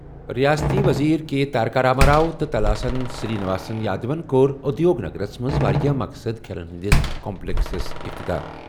رِیٲستی ؤزیٖر کے تارکا راما راؤ تہٕ تلاسانی سِرٛی نِواس یادوَن کوٚر اُدِیوگ نَگرس منٛز واریاہ مقصدٕ کھیلن ہِنٛدِس کمپلیکسُک افتتاح ۔